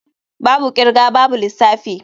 Babu kirga babu lissafi.